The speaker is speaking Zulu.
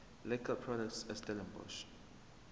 liquor products estellenbosch